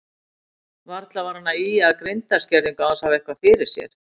Varla var hann að ýja að greindarskerðingu án þess að hafa eitthvað fyrir sér.